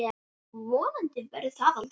Vonandi verður það aldrei.